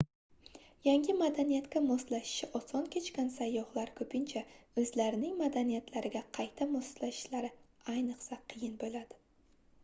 yangi madaniyatga moslashishi osoh kechgan sayyohlar koʻpincha oʻzlarining madaniyatlariga qayta moslashishlari ayniqsa qiyin boʻladi